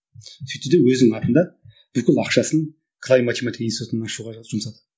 сөйтті де өзінің атында бүкіл ақшасын клай математика институтын ашуға жұмсады